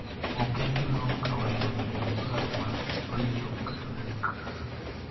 Ok en gima ok kawaida bedo gi paro ma richo kata lek